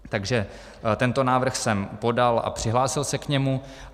Takže tento návrh jsem podal a přihlásil se k němu.